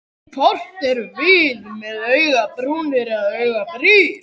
Hvort erum við með augabrúnir eða augabrýr?